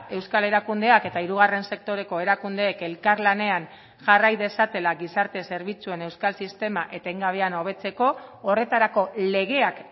euskal erakundeak eta hirugarren sektoreko erakundeek elkarlanean jarrai dezatela gizarte zerbitzuen euskal sistema etengabean hobetzeko horretarako legeak